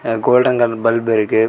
Golden colour bulb .